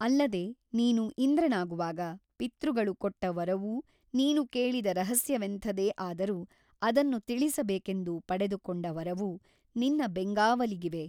ಅಲ್ಲದೆ ನೀನು ಇಂದ್ರನಾಗುವಾಗ ಪಿತೃಗಳು ಕೊಟ್ಟ ವರವೂ ನೀನು ಕೇಳಿದ ರಹಸ್ಯವೆಂಥದೇ ಆದರೂ ಅದನ್ನು ತಿಳಿಸಬೇಕೆಂದು ಪಡೆದುಕೊಂಡ ವರವೂ ನಿನ್ನ ಬೆಂಗಾವಲಿಗಿವೆ.